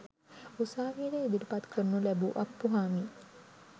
උසාවියට ඉදිරිපත් කරනු ලැබූ අප්පුහාමි